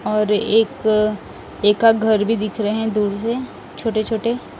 और एक एक का घर भी दिख रहे हैं दूर से छोटे छोटे--